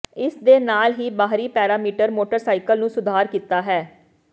ਇਸ ਦੇ ਨਾਲ ਹੀ ਬਾਹਰੀ ਪੈਰਾਮੀਟਰ ਮੋਟਰਸਾਈਕਲ ਨੂੰ ਸੁਧਾਰ ਕੀਤਾ ਹੈ